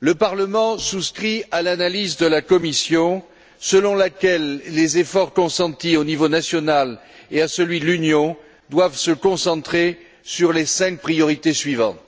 Le Parlement souscrit à l'analyse de la Commission selon laquelle les efforts consentis au niveau national et à celui de l'Union doivent se concentrer sur les cinq priorités suivantes